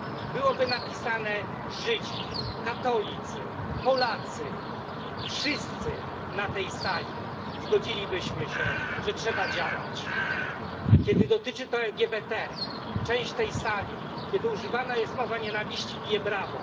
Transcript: byłoby napisane Żydzi, katolicy, Polacy. Wszyscy na tej sali zgodzilibyśmy się, że trzeba działać. Kiedy dotyczy to LGBT i kiedy używana jest mowa nienawiści, część tej sali bije brawo.